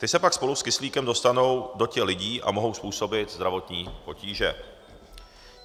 Ty se pak spolu s kyslíkem dostanou do těl lidí a mohou způsobit zdravotní potíže.